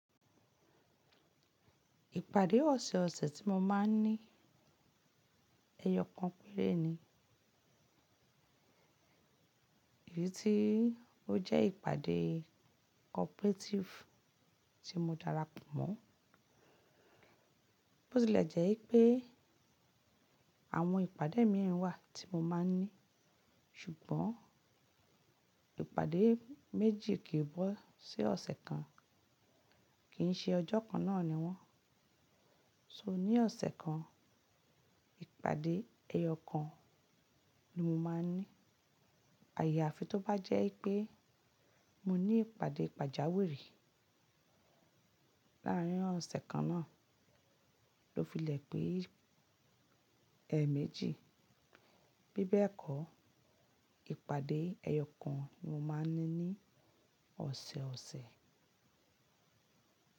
Ìpàdé ọ̀sẹ̀ ọ̀sẹ̀ tí mo máa ń ní ẹyọ kan péré ni. Èyí tí ó jẹ́ ìpàdé cooperative tí mo darapọ̀ mọ́. Bó tilẹ̀ jẹ́ wipé àwọn ìpàdé mi wà tí mo máa ń ní, ṣùgbọ́n ìpàdé méjì kì í wọ́ sí ọ̀sẹ̀ kan, kì í ṣe ọjọ́ kan náà ni wọ́n. So ní ọ̀sẹ̀ kan ìpàdé ẹyọ kan ni mo máa ń ní. Àya àfi tó bá jẹ́ pé mo ní ìpàdé pàjáwìrì láàárin ọ̀sẹ̀ kan náà ló filẹ̀ pé ẹ méjì. Bí bẹ́ẹ̀ kọ́ ìpàdé ẹyọ kan ni mo máa ń ní ní ọ̀sẹ̀ ọ̀sẹ̀.